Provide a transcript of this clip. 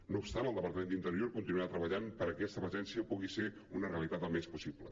no obstant el departament d’interior continuarà treballant perquè aquesta presència pugui ser una realitat al més aviat possible